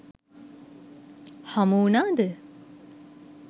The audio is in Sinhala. හමු වුණාද?